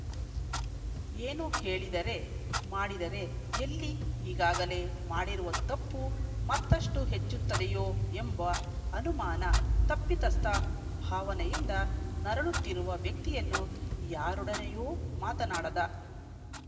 ಏನು ಹೇಳಿದರೆ ಮಾಡಿದರೆ ಎಲ್ಲಿ ಈಗಾಗಲೇ ಮಾಡಿರುವ ತಪ್ಪು ಮತ್ತಷ್ಟುಹೆಚ್ಚುತ್ತದೆಯೋ ಎಂಬ ಅನುಮಾನ ತಪ್ಪಿತಸ್ಥ ಭಾವನೆಯಿಂದ ನರಳುತ್ತಿರುವ ವ್ಯಕ್ತಿಯನ್ನು ಯಾರೊಡನೆಯೂ ಮಾತನಾಡದ